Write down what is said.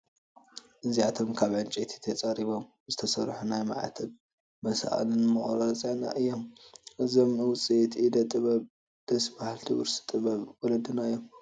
እዚኣቶም ካብ ዕንጨይቲ ተፀሪቦም ዝተሰርሑ ናይ ማዕተብ መሳቕልን መቑፀርያን እዮም፡፡ እዞም ውፅኢት ኢደ ጥበብ ደስ በሃልቲ ውርሲ ጥበበብ ወለድና እዮም፡፡